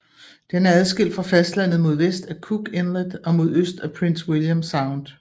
Den er adskilt fra fastlandet mod vest af Cook Inlet og mod øst af Prince William Sound